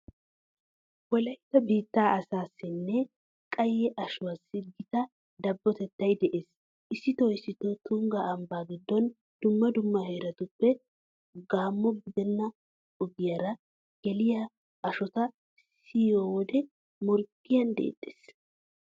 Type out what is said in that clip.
Wolaytta biittaa asaassinne qayye ashuwassi gita dabbotettay de'ees. Issitoo issitoo tungga ambbaa giddona dumma dumma heeratuppe gamma gidenna ogiyara geliya ashota siyiyo wode morggiyan deexxees.